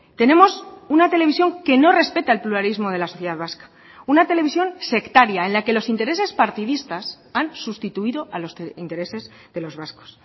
tenemos una televisión que no respeta el pluralismo de la sociedad vasca una televisión sectaria en la que los intereses partidistas han sustituido a los intereses de los vascos